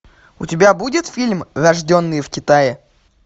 у тебя будет фильм рожденные в китае